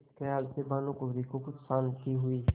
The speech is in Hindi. इस खयाल से भानुकुँवरि को कुछ शान्ति हुई